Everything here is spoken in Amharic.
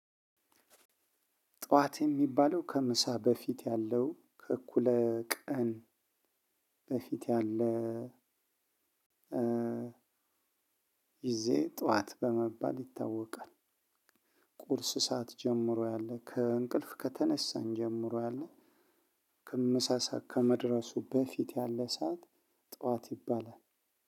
ጠዋት የሚባለው ከምሳ በፊት ያለው ከእኩለ ቀን በፊት ያለ ጊዜ ጠዋት በመባል ይታወቃል። ቁርስ ሰዓት ጀምሮ ያለ ከ እንቅልፍ ከተነሳን ጀምሮ ያለ ምሳ ሰዓት ከመድረሱ በፊት ያለ ሰዓት ጥዋት ይባላል።